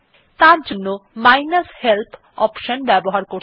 তারজন্য minus help option ব্যবহার করতে হবে